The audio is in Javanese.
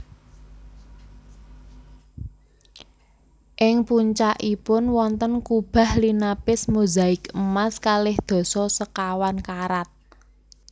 Ing puncakipun wonten kubah linapis mozaik emas kalih dasa sekawan karat